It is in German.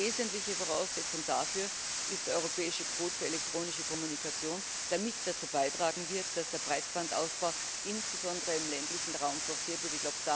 Eine wesentliche Voraussetzung dafür ist der europäische Kodex für die elektronische Kommunikation, der mit dazu beitragen wird, dass der Breitbandausbau insbesondere im ländlichen Raum forciert wird.